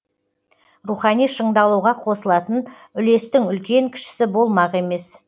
рухани шыңдалуға қосылатын үлестің үлкен кішісі болмақ емес